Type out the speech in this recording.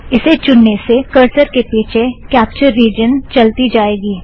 इसे चुनने से करसर के पीछे कॅप्चर रिजन चलती जाएगी